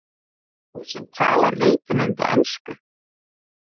Þú sem talar reiprennandi ensku!